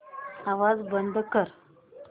आवाज बंद कर